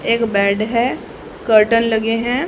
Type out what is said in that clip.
एक बेड है कर्टन लगे हैं।